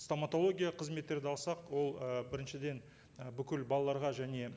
стоматология қызметтерді алсақ ол ы біріншіден і бүкіл балаларға және